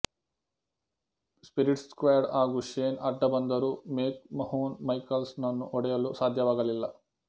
spirit squad ಹಾಗು Shane ಅಡ್ದಬಂದರೂ McMahon Michaels ನನ್ನು ಹೊಡೆಯಲು ಸಧ್ಯವಾಗಲಿಲ್ಲ